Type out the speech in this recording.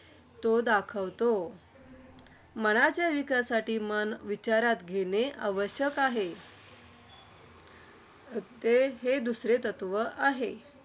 तो दाखवितो. मनाच्या विकासासाठी मन विचारात घेणे आवश्यक आहे. ते हे दुसरे तत्त्व आहे.